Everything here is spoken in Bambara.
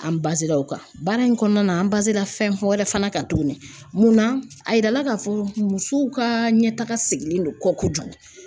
An bazera o kan baara in kɔnɔna na an bazera fɛn fɔ wɛrɛ fana kan tuguni mun na a yirala k'a fɔ musow ka ɲɛtaga sigilen don kɔ kojugu